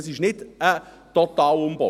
Es ist nicht ein Totalumbau.